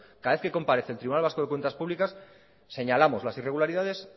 cada vez que comparece el tribunal vasco de cuentas públicas señalamos las irregularidades